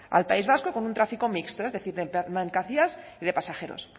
al país vasco con un tráfico mixto es decir de mercancías y de pasajeros